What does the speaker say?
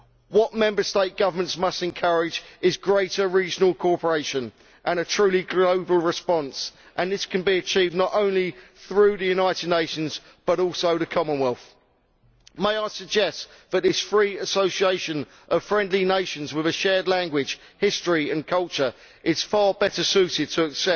What Member State governments must encourage is greater regional cooperation and a truly global response, and this can be achieved not only through the United Nations, but also through the Commonwealth. I would suggest that this free association of friendly nations with a shared language, history and culture is far better suited